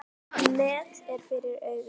Net er fyrir augum.